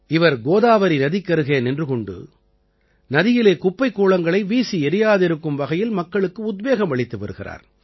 இவர் கோதாவரி நதிக்கருகே நின்று கொண்டு நதியிலே குப்பைக் கூளங்களை வீசி எறியாதிருக்கும் வகையில் மக்களுக்கு உத்வேகம் அளித்து வருகிறார்